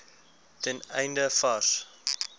ten einde vars